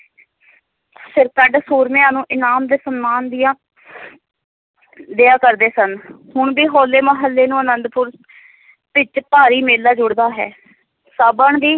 ਸਿਰਕੱਢ ਸੂਰਮਿਆਂ ਨੂੰ ਇਨਾਮ ਤੇ ਸਨਮਾਨ ਦੀਆਂ ਦਿਆ ਕਰਦੇ ਸਨ ਹੁਣ ਵੀ ਹੋਲੇ ਮਹੱਲੇ ਨੂੰ ਅਨੰਦਪੁਰ ਵਿੱਚ ਭਾਰੀ ਮੇਲਾ ਜੁੜਦਾ ਹੈ ਸਾਵਣ ਦੀ